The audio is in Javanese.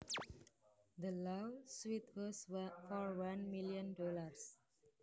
The law suit was for one million dollars